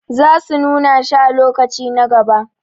sa su nuna shi a lokaci na gaba